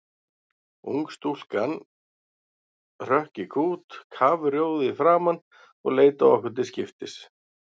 Unga stúlkan hrökk í kút kafrjóð í framan og leit á okkur til skiptis.